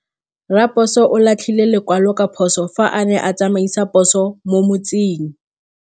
Raposo o latlhie lekwalô ka phosô fa a ne a tsamaisa poso mo motseng.